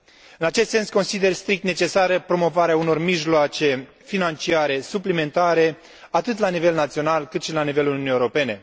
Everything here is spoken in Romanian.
În acest sens, consider strict necesară promovarea unor mijloace financiare suplimentare, atât la nivel național, cât și la nivelul Uniunii Europene.